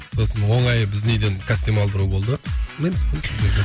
сосын оңайы біздің үйден костюм алдыру болды